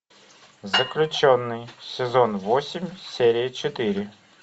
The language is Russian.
заключенный сезон восемь серия четыре